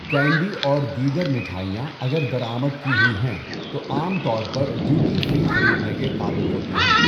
Candy اور دیگر مٹھائیاں اگر درآمد کی ہوئی ہیں تو عام طور پر ڈیوٹی فری خریدنے کے قابل ہوتی ہیں۔